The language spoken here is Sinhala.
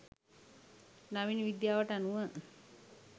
නවීන විද්‍යාවට අනුව